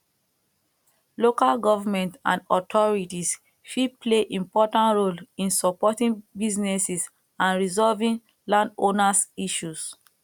local government and authorities fit play important role in supporting businesses and resolving landowners issues